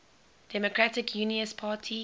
democratic unionist party